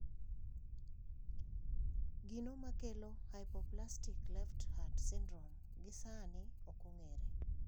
Gino makelo Hypoplastic left heart syndrome gisani okong`ere.